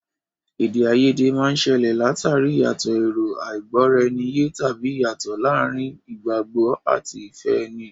Èdè àìyedè máa ń ṣẹlẹ̀ l'àtàrí ìyàtọ̀ èrò, àìgbọ́-ara-ẹni-yé, tàbí ìyàtọ̀ láàárín ìgbàgbọ́ àti ìfẹ́ ẹni.